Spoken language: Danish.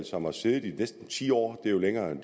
som har siddet i næsten ti år det er jo længere end